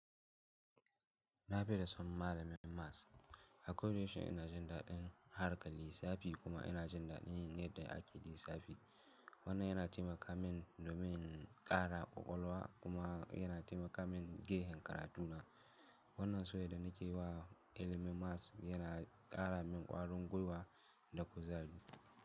Nafi da son malamin maths. A koda yaushe ina jin daɗin harkar lissafi kuma yana jin daɗin yin yadda ake lissafi. Wannan yana taimaka min domin ƙara ƙwaƙwalwa kuma yana taimaka min gefen karatu na. Wannan soyayyar da nake yi wa ilimin maths yana ƙara min ƙwarin gwiwa da kuzari.